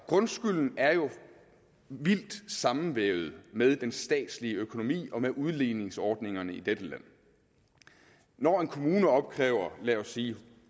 grundskylden er jo vildt sammenvævet med den statslige økonomi og med udligningsordningerne i dette land når en kommune opkræver lad os sige